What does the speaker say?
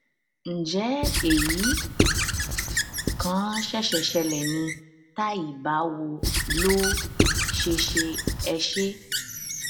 ǹjẹ èyí kàn ṣẹ̀ṣẹ̀ ṣẹlẹ ni tàí báwo ló ṣe ṣe ẹ ṣé